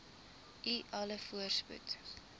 u alle voorspoed